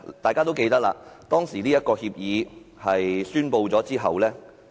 大家都記得，該項協議公布後......